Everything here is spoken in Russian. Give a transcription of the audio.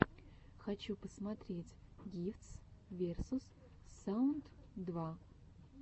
хочу посмотреть гифтс версус саунд два